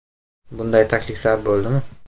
- Bunday takliflar bo‘ldimi?